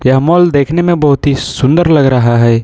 यह मॉल देखने में बहुत ही सुंदर लग रहा है।